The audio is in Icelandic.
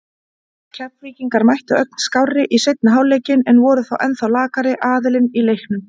Keflvíkingar mættu ögn skárri í seinni hálfleikinn en voru þó ennþá lakari aðilinn í leiknum.